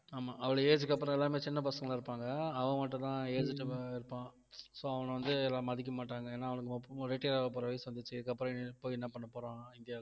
ஆமா அவ்வளவு age க்கு அப்புறம் எல்லாமே சின்ன பசங்களா இருப்பாங்க அவன் மட்டும்தான் aged அ இருப்பான் so அவன வந்து எல்லாம் மதிக்க மாட்டாங்க ஏன்னா அவனுக்கு retired ஆகப்போற வயசு வந்துருச்சி இதுக்கப்புறம் போய் என்ன பண்ண போறான் இந்தியாவுக்கு